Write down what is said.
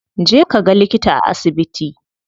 Je kaga likita a asibiti.